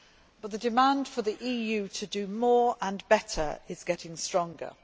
But the demand for the EU to do more and better is getting stronger.